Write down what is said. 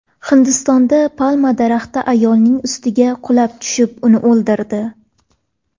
Hindistonda palma daraxti ayolning ustiga qulab tushib uni o‘ldirdi .